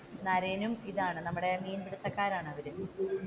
നരയനും ഇതാണ് നമ്മുടെ മീന്പിടുത്തക്കാരാണ് അവർ പക്ഷെ ഇവൻ അത് ഇഷ്ടമല്ല.